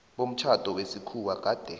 bomtjhado wesikhuwa gade